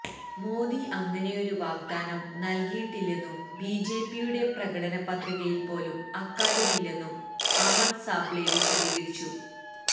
മോദി അങ്ങനെയൊരു വാഗ്ദാനം നല്കിയിട്ടില്ലെന്നും ബിജെപിയുടെ പ്രകടന പത്രികയില് പോലും അക്കാര്യമില്ലെന്നും അമര് സാബ്ളെ വിശദീകരിച്ചു